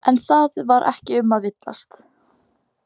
En það var ekki um að villast.